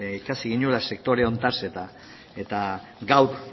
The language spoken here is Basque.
ikasi genuela sektore honetaz eta gaur